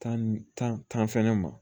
Tan ni tan fɛnɛ ma